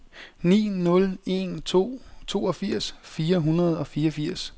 ni nul en to toogfirs fire hundrede og fireogfirs